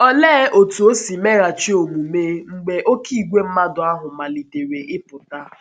Olee otú o si meghachi omume mgbe oké ìgwè mmadụ ahụ malitere ịpụta?